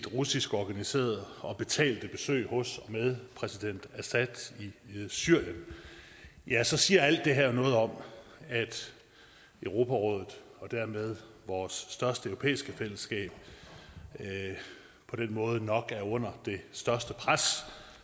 russiskorganiserede og betalte besøg hos og med præsident assad i syrien så siger alt det her noget om at europarådet og dermed vores største europæiske fællesskab på den måde nok er under det største pres